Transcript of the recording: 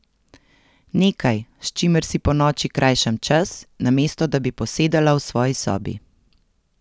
Nekaj, s čimer si ponoči krajšam čas, namesto da bi posedala v svoji sobi.